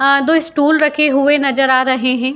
आ दो इस्टूल रखे हुए नज़र आ रहे हैं।